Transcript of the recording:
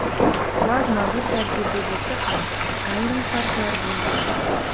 Plazma bir tarkibli bo‘lsa ham, ayrim farqlar bo‘lgan.